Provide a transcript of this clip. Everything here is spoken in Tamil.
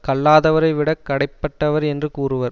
கல்லாதவரை விடக் கடைப்பட்டவர் என்று கூறுவர்